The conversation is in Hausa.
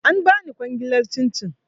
An bani kwangilar cin cin